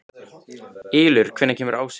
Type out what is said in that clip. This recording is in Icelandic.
Ylur, hvenær kemur ásinn?